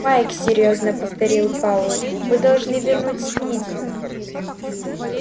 майк серьёзно повторил пауэлл мы должны вернуть спиди